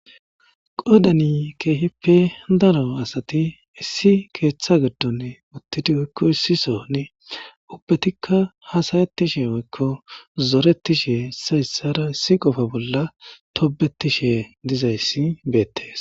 Qoodan keehipe daro asati issi keetha gidon uthidi woyko issi sohon ubatika haasa'etishe zoretishe issoy isara issi qofa bola tobetishe dizaysi beetes.